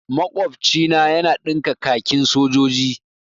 Makwabcina yana ɗinka kakin sojoji.